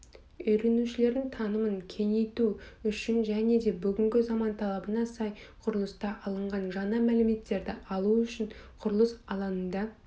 үйренушілердің танымын кеңейту үшін және де бүгінгі заман талабына сай құрылыста алынған жаңа мәліметтерді алу үшін құрылыс алаңында